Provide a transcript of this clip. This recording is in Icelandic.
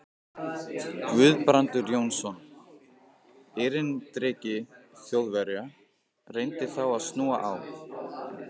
Guðbrandur Jónsson, erindreki Þjóðverja, reyndi þá að snúa á